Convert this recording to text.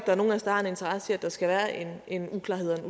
er nogen af os der har en interesse i at der her skal være en uklarhed